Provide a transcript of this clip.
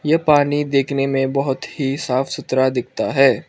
ए पानी देखने में बहोत ही साफ सुथरा दिखता है।